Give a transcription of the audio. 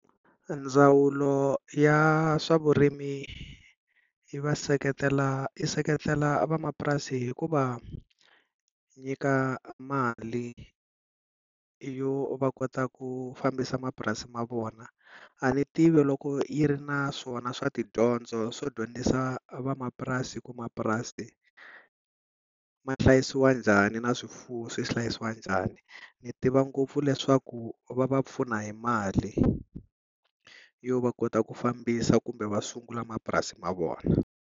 Ndzawulo ya swa vurimi yi va seketela, yi seketela vamapurasi hi ku va nyika mali yo va kota ku fambisa mapurasi ma vona. A ni tivi loko yi ri na swona swa tidyondzo swo dyondzisa van'wamapurasi ku mapurasi ma hlayisiwa njhani, na swifuwo swi hlayisiwa njhani, ni tiva ngopfu leswaku va va pfuna hi mali yo va kota ku fambisa kumbe va sungula mapurasi ma vona.